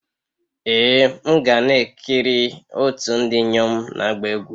Ee m ga na-ekiri otu ndị inyom na-agba egwu.